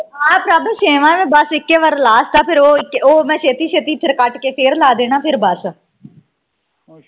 ਆ prabh ਛੇਵਾਂ ਆ ਬਸ ਇੱਕੋ ਵਾਰ last ਆ ਫਿਰ ਉਹ ਫਿਰ ਉਹ ਮੈਂ ਛੇਤੀ ਫੇਰ ਕੱਟ ਕੇ ਲਾਹ ਦੇਣਾ ਫੇਰ ਬਸ